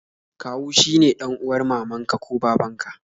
Kawu shi ne dan'uwar mamanka ko babanka